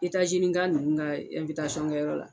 Itaazinika ninnu ka kɛyɔrɔ la.